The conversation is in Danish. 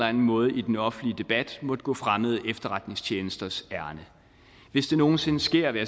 anden måde i den offentlige debat måtte gå fremmede efterretningstjenesters ærinde hvis det nogen sinde sker hvad